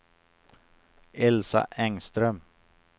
Elsa Engström